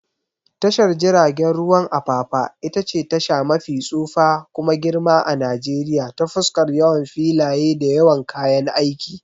Tashar jiragen ruwan Apapa itace tasha mafi tsufa kuma girma a Najeriya ta fuskar yawan filaye da yawan kayan aiki.